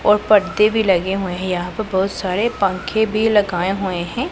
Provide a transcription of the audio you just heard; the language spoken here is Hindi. और पर्दे भी लगे हुए हैं यहां पे बहुत सारे पंखे भी लगाए हुए हैं।